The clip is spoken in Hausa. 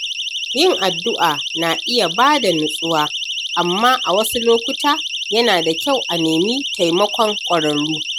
Yin addu’a na iya bada nutsuwa, amma a wasu lokuta, yana da kyau a nemi taimakon ƙwararru.